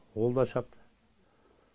ол да шапты